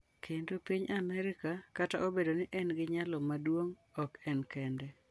Kendo piny Amerka - kata obedo ni en gi nyalo maduong’, ok en kende.